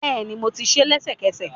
Bẹ́ẹ̀ni, mo tí sé lẹ́sẹ̀kẹsẹ̀